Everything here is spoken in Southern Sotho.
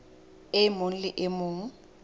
e mong le e mong